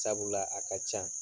Sabula a ka can